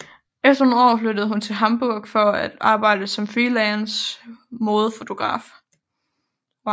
Efter nogle år flyttede hun til Hamburg for at arbejde som freelance modefotograf